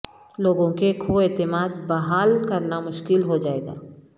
لوگوں کے کھو اعتماد بحال کرنا مشکل ہو جائے گا